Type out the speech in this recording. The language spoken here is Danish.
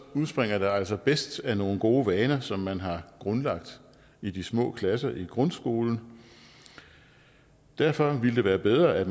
udspringer det altså bedst af nogle gode vaner som man har grundlagt i de små klasser i grundskolen derfor ville det være bedre at